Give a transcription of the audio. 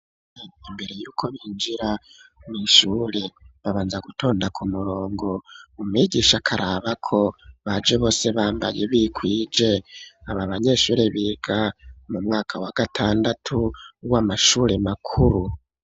imbere y'uko binjira mw,ishuri babanza gutonda ku murongo umwigisha akaraba ko baje bose bambaye bikwije abanyeshuri biga mu mwaka wa gatandatu w'amashuri makuru